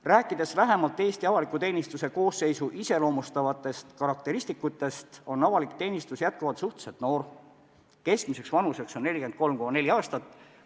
Rääkides lähemalt Eesti avaliku teenistuse koosseisu iseloomustavatest karakteristikutest, tuleb märkida, et avalik teenistus on jätkuvalt suhteliselt noor: keskmine vanus on 43,4 aastat.